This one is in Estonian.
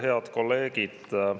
Head kolleegid!